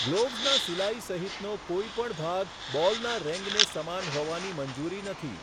ગ્લોવ્સનાં સિલાઈ સહિતનો કોઈપણ ભાગ બોલના રેંગને સમાન હોવાની મંજૂરી નથી.